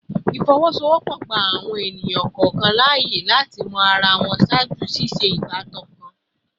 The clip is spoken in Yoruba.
Ifowosowopo gba awọn ẹni kọọkan laaye lati mọ ara wọn ṣaaju ṣiṣe si ibatan kan